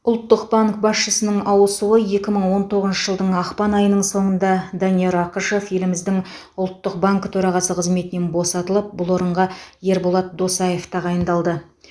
ұлттық банк басшысының ауысуы екі мың он тоғызынышы жылдың ақпан айының соңында данияр ақышев еліміздің ұлттық банкі төрағасы қызметінен босатылып бұл орынға ерболат досаев тағайындалды